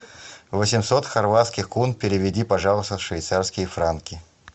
восемьсот хорватских кун переведи пожалуйста в швейцарские франки